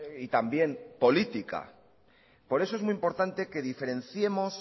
y también política por eso es muy importante que diferenciemos